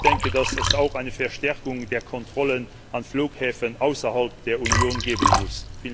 Ich denke, dass es auch eine Verstärkung der Kontrollen an Flughäfen außerhalb der Union geben muss.